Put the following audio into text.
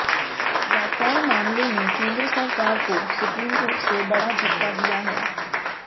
Rafale मामले में केंद्र सरकार को सुप्रीम कोर्ट से बड़ा झटका दिया है